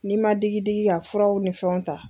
N'i ma digidiigi ka furaw ni fɛnw ta.